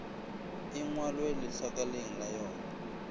e ngwalwe letlakaleng la yona